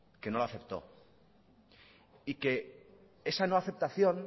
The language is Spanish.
que no lo aceptó y que esa no aceptación